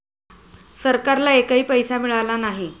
सरकारला एकही पैसा मिळाला नाही.